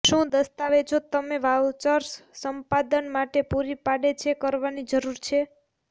શું દસ્તાવેજો તમે વાઉચર્સ સંપાદન માટે પૂરી પાડે છે કરવાની જરૂર છે